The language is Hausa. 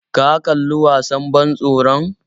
Ka kalli wasan ban tsoron?